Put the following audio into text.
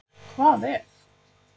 Hvað ef.